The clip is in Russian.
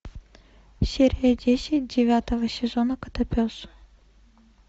серия десять девятого сезона котопес